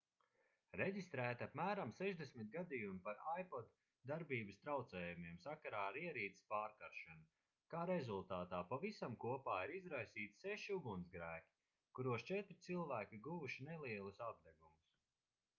reģistrēti apmēram 60 gadījumi par ipod darbības traucējumiem sakarā ar ierīces pārkaršanu kā rezultātā pavisam kopā ir izraisīti seši ugunsgrēki kuros četri cilvēki guvuši nelielus apdegumus